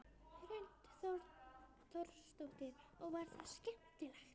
Hrund Þórsdóttir: Og var það skemmtilegt?